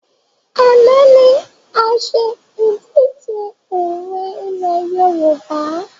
Àná ni a ṣe ìdíje òwe ilẹ̀ Yorùbá